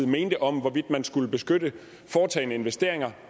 mente om hvorvidt man skulle beskytte foretagne investeringer